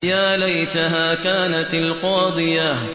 يَا لَيْتَهَا كَانَتِ الْقَاضِيَةَ